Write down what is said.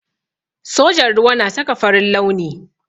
Sojan ruwa na saka farin launi.